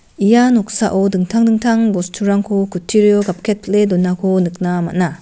ia noksao dingtang dingtang bosturangko kutturio gapketpile donako nikna man·a.